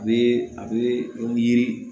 A bɛ a bɛ yiri